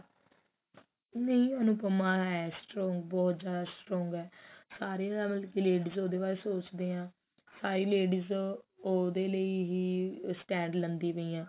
ਨਹੀ ਅਨੁਪਮਾ ਹੈ strong ਬਹੁਤ ਜਿਆਦਾ strong ਹੈ ਸਾਰੇ ਮਤਲਬ ਕਿ ladies ਉਹਦੇ ਬਾਰੇ ਸੋਚਦੇ ਨੇ ਸਾਰੀ ladies ਉਹਦੇ ਲਈ ਹੀ stand ਲੈਂਦੀ ਪਈਆਂ ਨੇ